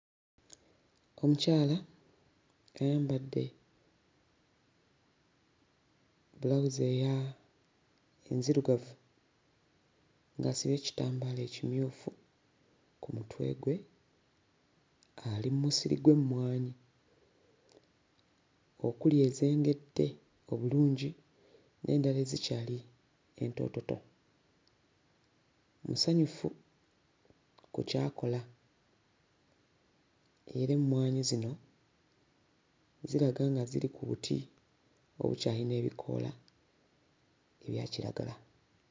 Omukyala ayambadde bulawuzi eya... enzirugavu ng'asibye ekitambaala ekimyufu ku mutwe gwe, ali mu musiri gw'emmwanyi okuli ezengedde obulungi n'endala ezikyali entoototo. Musanyufu ku ky'akola era emmwanyi zino ziraga nga ziri ku buti obukyayina ebikoola ebya kiragala.